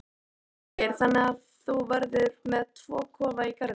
Þorgeir: Þannig að þú verður með tvo kofa í garðinum?